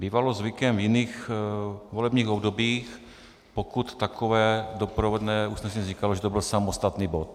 Bývalo zvykem v jiných volebních obdobích, pokud takové doprovodné usnesení vznikalo, že to byl samostatný bod.